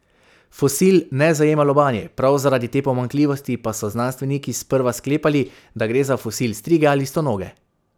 Fosil ne zajema lobanje, prav zaradi te pomanjkljivosti pa so znanstveniki sprva sklepali, da gre za fosil strige ali stonoge.